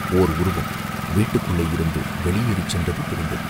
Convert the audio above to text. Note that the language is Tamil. ஓர் உருவம் வீட்டிற்குள்ளேயிருந்து வெளியேறிச் சென்றது தெரிந்தது.